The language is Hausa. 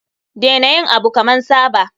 Dena yin Abu kaman Saba.